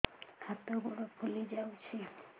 ହାତ ଗୋଡ଼ ଫୁଲି ଯାଉଛି